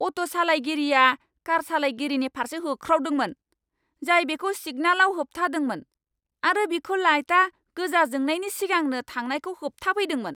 Auto सालाइगिरिआ कार सालाइगिरिनि फारसे होख्रावदोंमोन जाय बेखौ सिगनालाव होबथादोंमोन आरो बिखौ लाइटआ गोजा जोंनायनि सिगांनो थांनायखौ होबथाफैदोंमोन।